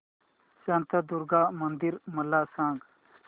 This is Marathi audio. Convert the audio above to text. शांतादुर्गा मंदिर मला सांग